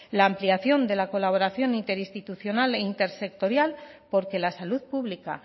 la ampliación de la colaboración interinstitucional e intersectorial porque la salud pública